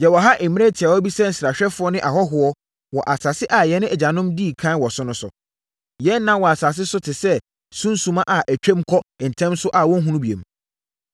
Yɛwɔ ha mmerɛ tiawa bi sɛ nsrahwɛfoɔ ne ahɔhoɔ wɔ asase a yɛn agyanom dii ɛkan wɔ so no so. Yɛn nna wɔ asase so te sɛ sunsumma a ɛtwam kɔ ntɛm so a wɔnhunu bio.